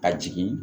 A jigin